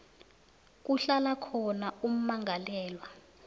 kuhlala khona ummangalelwa